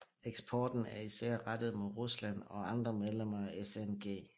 Eksporten er især rettet mod Rusland og andre medlemmer af SNG